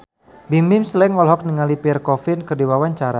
Bimbim Slank olohok ningali Pierre Coffin keur diwawancara